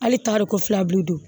Hali taari ko filabilen don